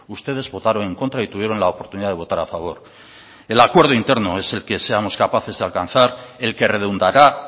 ustedes votaron en contra y tuvieron la oportunidad de votar a favor el acuerdo interno es el que seamos capaces de alcanzar el que redundará